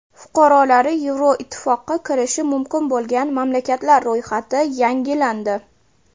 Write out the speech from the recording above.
Fuqarolari Yevroittifoqqa kirishi mumkin bo‘lgan mamlakatlar ro‘yxati yangilandi.